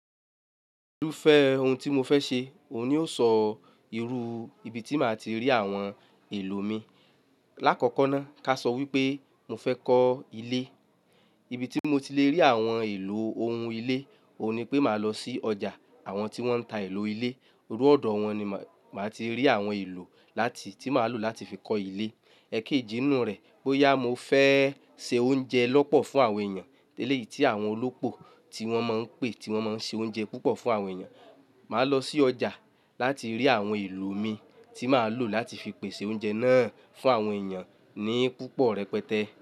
Irúfẹ́ ohun tí mo fẹ́ ṣe òun ni ó sọ irú ibi tí màá ti rí àwọn èlò mi. Láàkọ́kọ́ náà ká sọ wípé mo fẹ́ kọ́ ilé, ibi tí mo ti le rí àwọn èlò ohun ilé òun ni pé màá lọ sí ọjà àwọn tí wọ́n ń ta èlò ilé, irú ọ̀dọ̀ wọn ni màá ti rí àwọn èlò láti tí màá lò láti fi kọ́ ilé. Ẹ̀kéjì inú rẹ̀ bóyá mo fẹ́ se oúnjẹ lọ́pọ̀ fún àwọn èèyàn léyìí tí àwọn olópò tí wọ́n máa ń pè tí wọ́n máa ń ṣe oúnjẹ púpọ̀ fún àwọn èèyàn. Màá lọ sí ọjà láti rí àwọn èlò mi tí màá lò láti fi pèsè oúnjẹ náà fún àwọn èèyàn ní púpọ̀ rẹpẹtẹ.